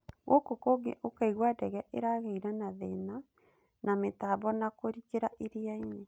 Gũkũ kũngĩ ũkaigua ndege ĩragĩire na thĩna na mĩtambo na kũrikĩra iriainĩ.